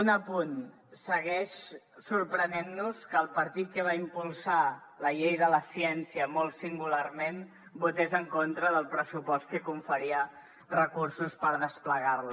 un apunt segueix sorprenent nos que el partit que va impulsar la llei de la ciència molt singularment votés en contra del pressupost que conferia recursos per desplegar la